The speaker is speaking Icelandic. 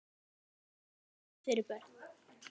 Þetta er ekkert fyrir börn!